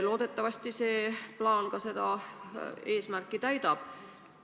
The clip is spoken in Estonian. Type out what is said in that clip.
Loodetavasti see plaan seda eesmärki ka täidab.